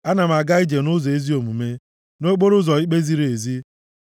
Ana m aga ije nʼụzọ ezi omume, nʼokporoụzọ ikpe ziri ezi.